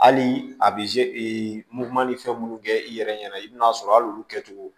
Hali a bɛ e muguman ni fɛn minnu kɛ i yɛrɛ ɲɛna i bɛ n'a sɔrɔ hali olu kɛcogo